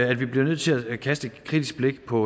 at vi bliver nødt til at kaste et kritisk blik på